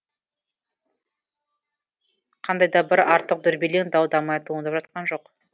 қандай да бір артық дүрбелең дау дамай туындап жатқан жоқ